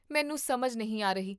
ਮੈਨੂੰ ਸਮਝ ਨਹੀਂ ਆ ਰਹੀ